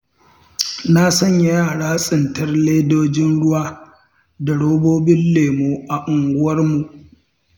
Na sanya yara tsintar ledojin ruwa da robobin lemo a unguwarmu.